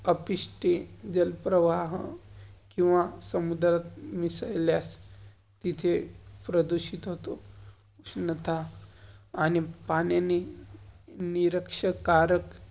कपिश्ते, जलप्रवाह, किव्हा समुद्रात मिसल्यास तिथे प्रदूषित होतं. उष्णता आणि पाण्यानी निराक्ष्कारक.